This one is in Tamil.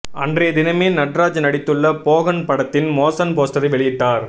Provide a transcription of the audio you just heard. அன்றைய தினமே நட்ராஜ் நடித்துள்ள போகன் படத்தின் மோசன் போஸ்டரை வெளியிட்டார்